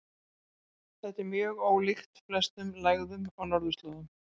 Þetta er mjög ólíkt flestum lægðum á norðurslóðum.